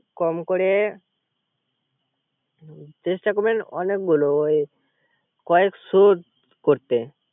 কম করে চেস্টা করবেন অনেকগুলো কয়েকশ করতে